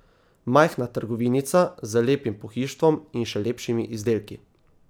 Majhna trgovinica z lepim pohištvom in še lepšimi izdelki.